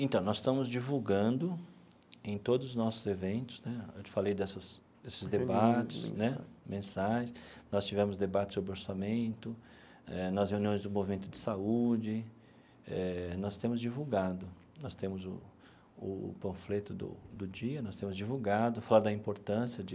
Então, nós estamos divulgando em todos os nossos eventos né, eu te falei dessas desses debates né mensais, nós tivemos debates sobre orçamento, eh nas reuniões do movimento de saúde, eh nós temos divulgado, nós temos o o panfleto do do dia, nós temos divulgado, fala da importância de